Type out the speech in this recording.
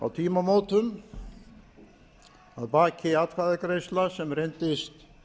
á tímamótum að baki atkvæðagreiðsla sem reyndist